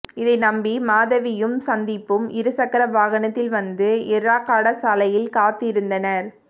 இதை நம்பி மாதவியும் சந்தீப்பும் இருசக்கர வாகனத்தில் வந்து எர்ரகாடா சாலையில் காத்திருந்தனர்